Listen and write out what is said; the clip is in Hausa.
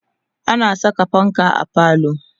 ana Saka fanka a falo